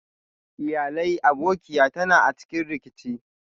Iyalai abokiya ta na a cikin rikici.